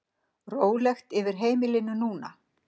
Rólegt yfir heimilinu núna.